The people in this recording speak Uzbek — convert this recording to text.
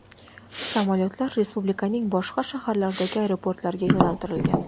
Samolyotlar respublikaning boshqa shaharlaridagi aeroportlarga yo‘naltirilgan.